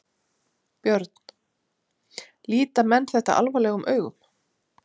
Björn: Líta menn þetta alvarlegum augum?